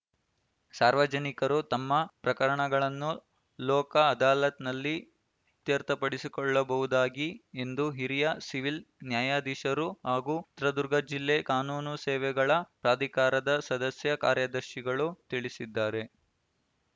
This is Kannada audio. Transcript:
ಸಾರ್ವಜನಿಕರು ತಮ್ಮ ಪ್ರಕರಣಗಳನ್ನು ಲೋಕ ಅದಾಲತ್‌ನಲ್ಲಿ ಇತ್ಯರ್ಥಪಡಿಸಿಕೊಳ್ಳಬಹುದಾಗಿ ಎಂದು ಹಿರಿಯ ಸಿವಿಲ್‌ ನ್ಯಾಯಾಧೀಶರು ಹಾಗೂ ಚಿತ್ರದುರ್ಗ ಜಿಲ್ಲಾ ಕಾನೂನು ಸೇವೆಗಳ ಪ್ರಾಧಿಕಾರದ ಸದಸ್ಯ ಕಾರ್ಯದರ್ಶಿಗಳು ತಿಳಿಸಿದ್ದಾರೆ